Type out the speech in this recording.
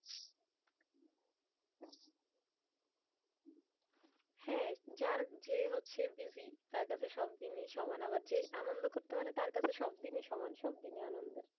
হ্যাঁ যার যে হচ্ছে busy তার কাছে সব দিনই সমান। আবার যে আনন্দ করতে পারে তার কাছে সব দিনই সমান। সব দিনই আনন্দের।